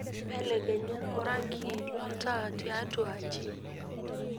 belekenya orangi lo ntaa tiatwa aaji